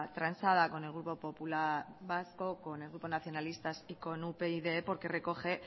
transada con el grupo popular vasco con el grupo nacionalistas y con upyd porque recoge